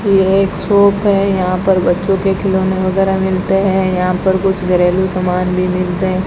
ये एक शॉप है यहां पर बच्चों के खिलौने वगैरा मिलते हैं यहां पर कुछ घरेलू सामान भी मिलते --